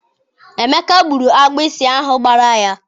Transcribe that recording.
Emeka gburu agbụsị ahụ gbara ya.